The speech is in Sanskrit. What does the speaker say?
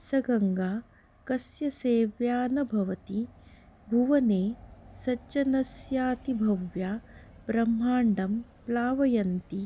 स गङ्गा कस्य सेव्या न भवति भुवने सज्जनस्यातिभव्या ब्रह्माण्डं प्लावयन्ती